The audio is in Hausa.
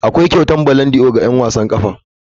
Akwai kyautar ballondi'or ga 'yan wasan ƙwallon ƙafa.